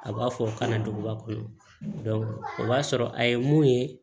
A b'a fɔ kana duguba kɔnɔ o b'a sɔrɔ a ye mun ye